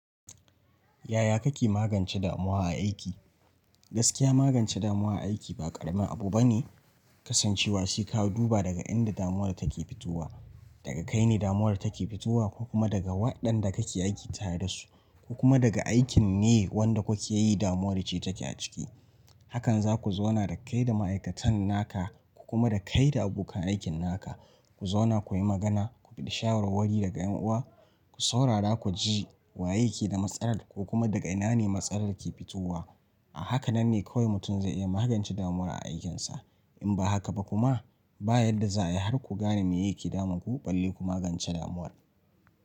Yaya kake magance damuwa a aiki? Gaskiya magance damuwa a aiki ba ƙaramin abu bane, kasancewa sai ka duba daga inda damuwar take fitowa. Daga kai ne damuwar take fitowa ko kuma daga waɗanda kake aiki tare dasu, ko kuma daga aikin ne wanda kukeyi damuwa ce take a ciki. Hakan za ku zauna da kai da ma'aikatan naka, ku kuma da kai da abokan aikin naka, ku zauna kuyi magana, ku bi da shawarwari daga ƴan uwa, ku saurara ku ji wa yake da matsalar ko kuma daga ina ne matsalar ke fitowa. A haka nan ne kawai mutum zai iya magance damuwa a aikinsa. In ba haka ba kuma, ba yadda za a yi har ku gane me yake damun ku, balle ku magance damuwar.